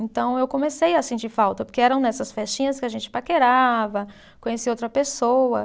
Então eu comecei a sentir falta, porque eram nessas festinhas que a gente paquerava, conhecia outra pessoa.